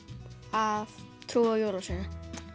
að trúa á jólasveininn